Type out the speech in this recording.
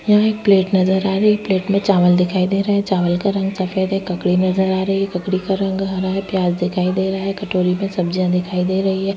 यहाँ एक प्लेट नज़र आ रही है और प्लेट मे चावल दिखाई दे रहे है चावल का रंग सफ़ेद है ककड़ी नज़र आ रहे है ककड़ी का रंग हरा है प्याज दिखाई दे रहा है कटोरी मै सब्जी दिखाई दे रही है।